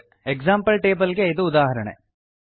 example table ಗೆ ಇದು ಉದಾಹರಣೆ